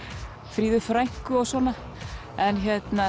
Fríðu frænku og svona en